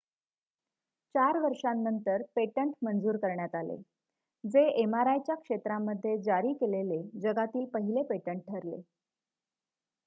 चार वर्षांनंतर पेटंट मंजूर करण्यात आले जे mri च्या क्षेत्रामध्ये जारी केलेले जगातील पहिले पेटंट ठरले